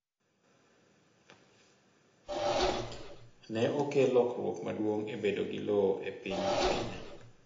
ne okelo lokruok maduong' e bedo gi lowo e piny kenya